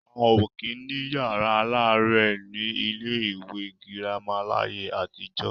A ò kí ń ní yàrá aláàrẹ̀ ní ilé ìwé girama láyé àtijọ́.